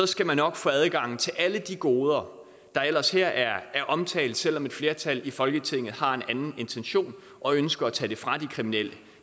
skal man nok få adgang til alle de goder der ellers her er omtalt selv om et flertal i folketinget har en anden intention og ønsker at tage det fra de kriminelle